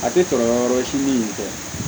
A tɛ kɔlɔlɔ wɛrɛ si min tɛ